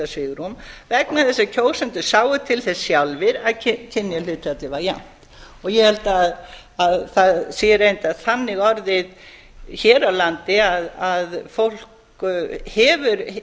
svigrúm vegna þess að kjósendur sáu til þess sjálfir að kynjahlutfallið var jafnt og ég held að það sé reyndar þannig orðið hér á landi að fólk hefur